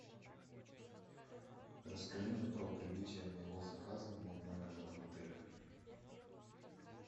расскажи мне про прибытие моего заказа в мой номер в этом отеле